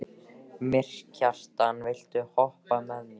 Mýrkjartan, viltu hoppa með mér?